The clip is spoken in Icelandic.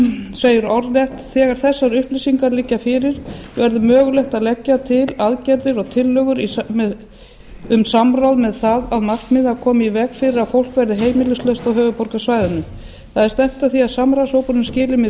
segir orðrétt þegar þessar upplýsingar liggja fyrir verður mögulegt að leggja til aðgerðir og tillögur um samráð með það að markmiði að koma í veg fyrir að fólk verði heimilislaust á höfuðborgarsvæðinu það er stefnt að því að samráðshópurinn skili með